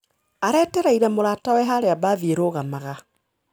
Aretereire mũratawe harĩa mbathi irũgamaga.